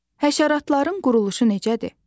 Həşəratların quruluşu necədir?